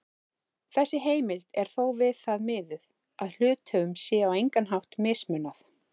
Þessi heimild er þó við það miðuð að hluthöfum sé á engan hátt mismunað.